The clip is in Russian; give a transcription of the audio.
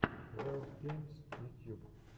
ваилд геймс ютьюб